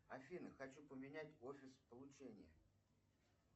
афина хочу поменять офис получения